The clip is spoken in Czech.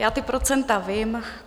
Já ta procenta vím.